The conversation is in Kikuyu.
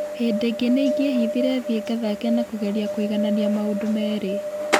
Hĩndĩ ĩngĩ nĩ ingĩehithire thiĩ ngathake na kũgeria kũiganania maũndũ meerĩ.